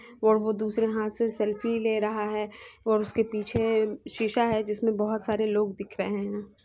और वो दूसरे हाथ से सेल्फ़ी ले रहा है और उसके पीछे शीशा है जिसमें बहुत सारे लोग दिख रहे हैं।